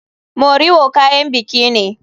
Moriwo kayan biki ne.